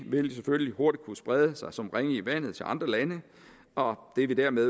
vil selvfølgelig hurtigt kunne sprede sig som ringe i vandet til andre lande og det vil dermed